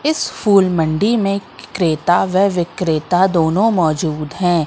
इस फूल मंडी में क्रेता व विक्रेता दोनों मौजूद है।